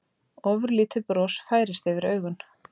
Ofurlítið bros færist yfir augun.